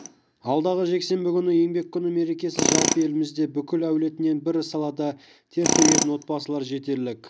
алдағы жексенбі күні еңбек күні мерекесі жалпы елімізде бүкіл әулетімен бір салада тер төгетін отбасылар жетерлік